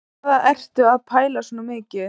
Hvað ertu að pæla svona mikið?